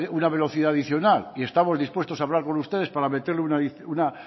una velocidad adicional y estamos dispuestos a hablar con ustedes para meterle una